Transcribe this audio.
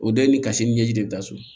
O dɔ ye ni kasi ni ɲɛji de da so